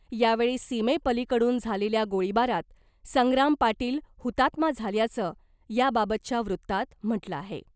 यावेळी सीमेपलिकडून झालेल्या गोळीबारात संग्राम पाटील हुतात्मा झाल्याचं , याबाबतच्या वृत्तात म्हटलं आहे .